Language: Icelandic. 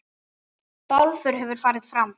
Bálför hefur farið fram.